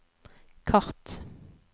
kart